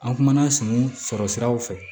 An kumana sun sɔrɔ siraw fɛ